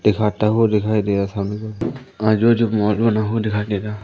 एक आता हुआ दिखाई दे रहा सामने आजू बाजू मॉल बना हुआ दिखाई दे रहा--